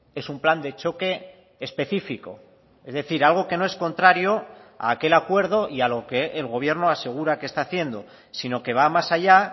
es un plan de choque específico es decir algo que no es contrario a aquel acuerdo y a lo que el gobierno asegura que está haciendo sino que va más allá